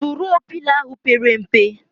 Turuọ Pịlo ahụ pere mpe